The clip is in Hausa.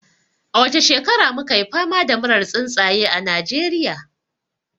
A wace shekara mu $ka yi fama da murar tsuntsaye a Najeriya?